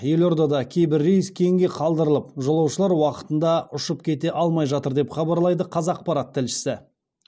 елордада кейбір рейс кейінге қалдырылып жолаушылар уақытында ұшып кете алмай жатыр деп хабарлайды қазақпарат тілшісі